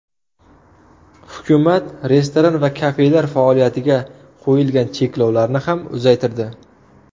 Hukumat restoran va kafelar faoliyatiga qo‘yilgan cheklovlarni ham uzaytirdi.